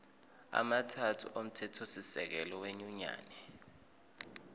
amathathu omthethosisekelo wenyunyane